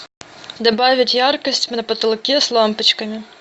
добавить яркость на потолке с лампочками